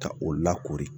Ka o lakori